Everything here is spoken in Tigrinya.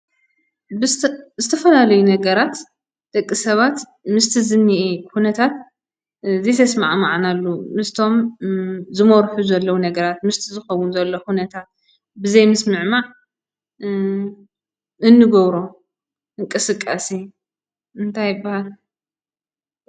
ብዝተ ዝተፈላለዩ ነገራት ደቂ ሰባት ምስቲ ዝንሄ ኩነታት ዘይተስማዕማዕናሉ ምስቶም ዝመርሑ ዘለዉ ነገራት ምስቲ ዝኾውን ዘሎ ኹነታት ብዘይ ምስምዕማዕ እንገብሮ እንቅስቃሴ እንታይ ይብሃል?